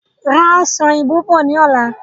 Ra Ọsàn òyìnbó bọ̀ ni ọ̀la!